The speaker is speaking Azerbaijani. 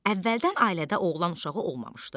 Əvvəldən ailədə oğlan uşağı olmamışdı.